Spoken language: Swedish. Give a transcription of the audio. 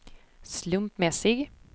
slumpmässig